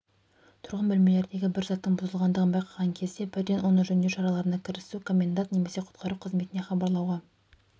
тұрғын бөлмелердегі бір заттың бұзылғандығын байқаған кезде бірден оны жөндеу шараларына кірісу комендант немесе құтқару қызметіне хабарлауға